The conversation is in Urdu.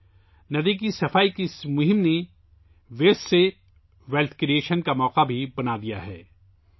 اس ندی کی صفائی مہم نے کچرے سے دولت کے حصول کا موقع بھی پیدا کیا ہے